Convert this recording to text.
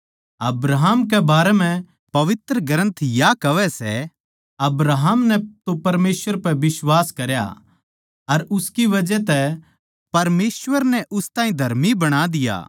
अब्राहम के बारें म्ह पवित्र ग्रन्थ या कहवै सै अब्राहम नै तो परमेसवर पै बिश्वास करया अर उसकी बजह तै परमेसवर नै उस ताहीं धर्मी बणा दिया